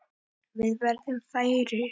Við verðum færri.